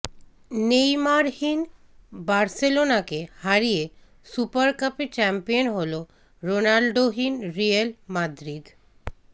নেইমারহীন বার্সেলোনাকে হারিয়ে সুপার কাপে চ্যাম্পিয়ন হল রোনাল্ডোহীন রিয়াল মাদ্রিদ